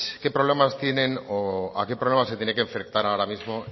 qué problemas tienen o a qué problemas se tiene que enfrentar ahora mismo